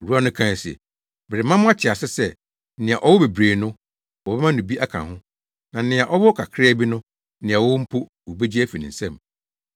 “Owura no kae se, ‘Merema mo ate ase sɛ, nea ɔwɔ bebree no, wɔbɛma no bi aka ho, na nea ɔwɔ kakraa bi no, nea ɔwɔ mpo no, wobegye afi ne nsam.